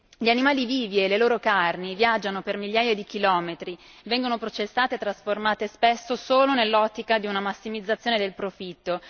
gli animali vivi e le loro carni viaggiano per migliaia di chilometri e vengono processate e trasformate spesso solo nell'ottica di una massimizzazione del profitto.